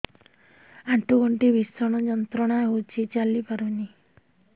ଆଣ୍ଠୁ ଗଣ୍ଠି ଭିଷଣ ଯନ୍ତ୍ରଣା ହଉଛି ଚାଲି ପାରୁନି